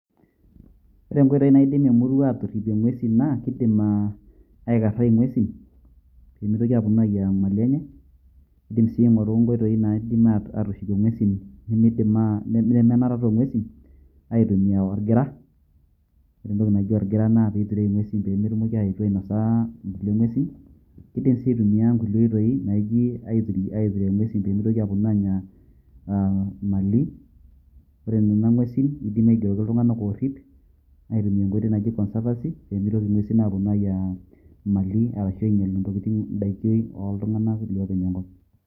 Ore nkoitoi naidim emurua atorripie ng'uesi naa, keidim ah aikarrai ing'uesin pe mitoki aponu ayiaya mali enye. Keidim si aing'oru nkoitoi naidim atushukie ng'uesin nimidin ah nemenarata o ng'uesin, aitumia orgira. Ore entoki naji orgira naa peiturieki ng'uesin pemetumoki aetu ainosa nkulie ng'uesin. Keidim si aitumia nkulie oitoi naiji aiture ng'uesin pemitoki aponu anya ah Mali, Ore nena ng'uesin keidimi aigeroki iltung'anak orrip, aitumia enkoitoi naji conservancy pemitoki ng'uesin aponu ayiaya Mali arashu intokitin idaiki oltung'anak lopeny enkop.